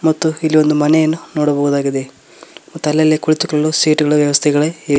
ಮತ್ತು ಇಲ್ಲೊಂದು ಮನೆಯನ್ಮು ನೋಡಬಹುದಾಗಿದೆ ಮತ್ತು ಅಲ್ಲಲ್ಲೇ ಕುಳಿತುಕೊಳ್ಳಲು ಸೀಟು ಗಳ ವ್ಯವಸ್ಥೆಗಳೇ ಇವೆ.